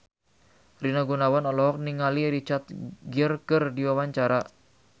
Rina Gunawan olohok ningali Richard Gere keur diwawancara